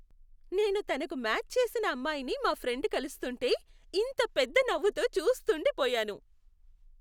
నేను తనకు మ్యాచ్ చేసిన అమ్మాయిని మా ఫ్రెండ్ కలుస్తుంటే, ఇంత పెద్ద నవ్వుతో చూస్తూండి పోయాను.